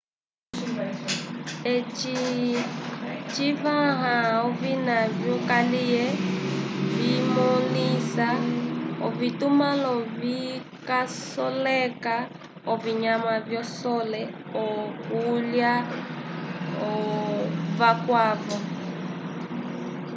eci civãha ovina vyokaliye vimõlisa ovitumãlo vikasoleka ovinyama visole okulya vakwavo